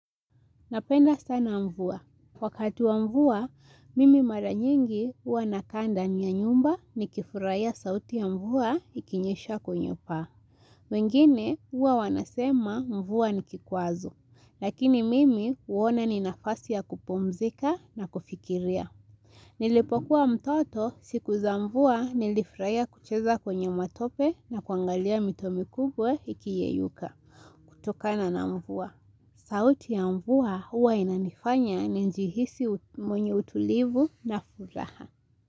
Napenda sana mvua. Wakati wa mvua, mimi mara nyingi huwa nakaa ndani ya nyumba nikifurahia sauti ya mvua ikinyesha kwenye paa. Wengine huwa wanasema mvua ni kikwazo. Lakini mimi huona ni nafasi ya kupumzika na kufikiria. Nilipokuwa mtoto siku za mvua nilifurahia kucheza kwenye matope na kuangalia mito mikubwe ikiyeyuka. Kutokana na mvua. Sauti ya mvua huwa inanifanya nijihisi mwenye utulivu na furaha.